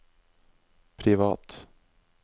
privat